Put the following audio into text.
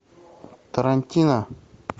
тарантино